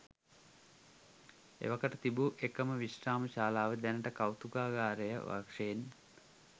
එවකට තිබූ එකම විශ්‍රාම ශාලාව දැනට කෞතුකාගාරය වශයෙන්